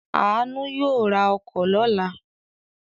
Aanu yóò ra ọkọ̀ lọ́la.